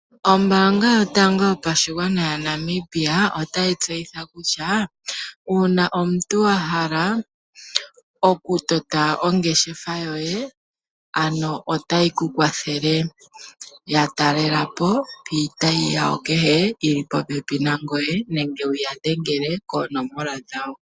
Ombaanga yotango yopashigwana yaNamibia ota yi tseyitha kutya, uuna omuntu wahala okutota ongeshefa yoye, ano ota yi ku kwathele. Yatalela po piitayi yayo kehe yili popepi nangoye nenge wu ya dhengele koonomola dhawo.